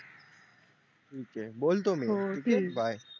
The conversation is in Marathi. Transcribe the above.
ठीक आहे बोलतो मी हो ठीक आहे bye